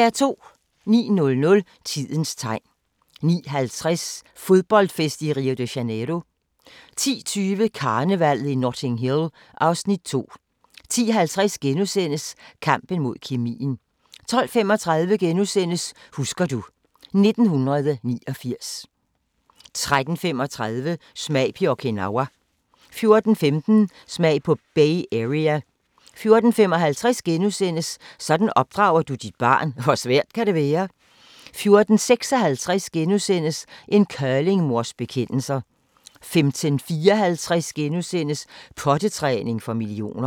09:00: Tidens Tegn 09:50: Fodboldfest i Rio de Janeiro 10:20: Karnevallet i Notting Hill (Afs. 2) 10:50: Kampen mod kemien * 12:35: Husker du ... 1989 * 13:35: Smag på Okinawa 14:15: Smag på Bay Area 14:55: Sådan opdrager du dit barn – hvor svært kan det være? * 14:56: En curlingmors bekendelser * 15:54: Pottetræning for millioner *